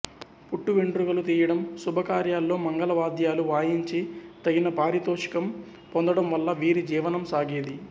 పుట్టు వెండ్రుకలు తీయటం శుభకార్యాల్లో మంగళ వాద్యాలు వాయించి తగిన పారితోషికం పొందటం వల్ల వీరి జీవనం సాగేది